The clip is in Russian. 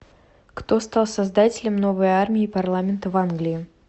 кто стал создателем новой армии парламента в англии